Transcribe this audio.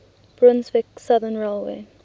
brunswick southern railway